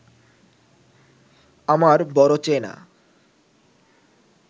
আমার বড় চেনা